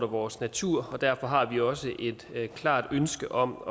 vores natur og derfor har vi også et klart ønske om